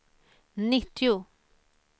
nittio